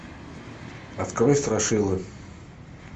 открой страшилы